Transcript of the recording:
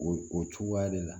O cogoya de la